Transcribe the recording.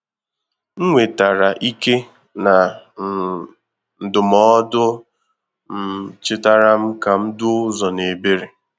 M nwetàrà íké na um ndụmọdụ um chetara m ka m duo uzo n'ebere.